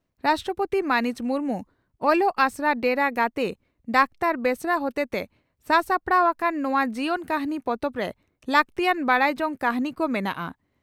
ᱨᱟᱥᱴᱨᱚᱯᱳᱛᱤ ᱢᱟᱹᱱᱤᱡ ᱢᱩᱨᱢᱩ ᱚᱞᱚᱜ ᱟᱥᱲᱟ ᱰᱮᱨᱟ ᱜᱟᱛᱮ ᱰᱟᱠᱛᱟᱨ ᱵᱮᱥᱨᱟ ᱦᱚᱛᱮᱛᱮ ᱥᱟᱟᱯᱲᱟᱣ ᱟᱠᱟᱱ ᱱᱚᱣᱟ ᱡᱤᱭᱚᱱ ᱠᱟᱹᱦᱱᱤ ᱯᱚᱛᱚᱵᱨᱮ ᱞᱟᱹᱜᱛᱤᱭᱟᱱ ᱵᱟᱰᱟᱭ ᱡᱚᱝ ᱠᱟᱹᱦᱱᱤ ᱠᱚ ᱢᱮᱱᱟᱜᱼᱟ ᱾